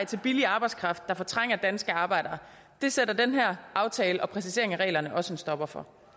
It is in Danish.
til billig arbejdskraft der fortrænger danske arbejdere det sætter den her aftale og præcisering af reglerne også en stopper for